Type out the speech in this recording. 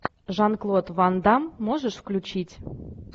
жан клод ван дамм можешь включить